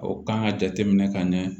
O kan ka jateminɛ ka ɲɛ